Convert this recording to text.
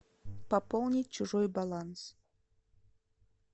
пополнить чужой баланс